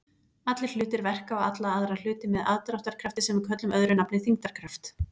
Allir hlutir verka á alla aðra hluti með aðdráttarkrafti sem við köllum öðru nafni þyngdarkraft.